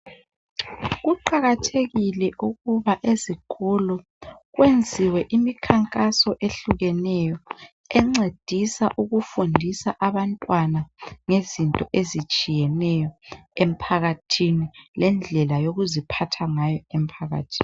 Kuqakathekile ukuba ezikolo kwenziwe imikhanhaso ehlukeyo encedisa ukufundisa abantwana ngezinto ezitshiyeneyo emphakathini ngendlela yokuziphatha ngayo ephakathini.